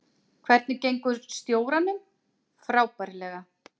Hvernig gengur stjóranum: Frábærlega.